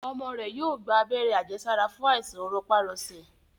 ọmọ rẹ yóò gba Abẹ́rẹ́ àjẹsára fún Àìsàn rọpárọsẹ